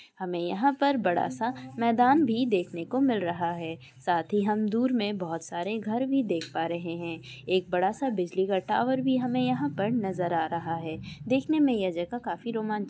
हमें यहां पर बड़ा सा मैदान भी देखने को मिल रहा है साथ ही हम दूर में बहुत सारे घर भी देख पा रहे है एक बड़ा सा बिजली का टावर भी हमें यहां पर नजर आ रहा है दखने में यह जगह काफी रोमांचक --